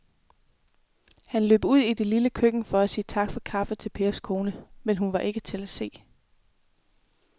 Han løb ud i det lille køkken for at sige tak for kaffe til Pers kone, men hun var ikke til at se.